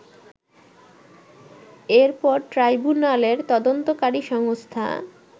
এরপর ট্রাইবুনালের তদন্তকারী সংস্থা